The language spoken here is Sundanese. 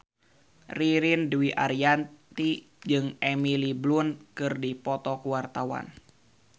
Ririn Dwi Ariyanti jeung Emily Blunt keur dipoto ku wartawan